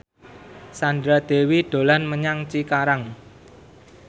Sandra Dewi dolan menyang Cikarang